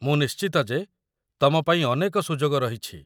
ମୁଁ ନିଶ୍ଚିତ ଯେ ତମପାଇଁ ଅନେକ ସୁଯୋଗ ରହିଛି